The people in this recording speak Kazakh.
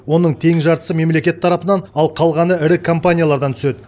оның тең жартысы мемлекет тарапынан ал қалғаны ірі компаниялардан түседі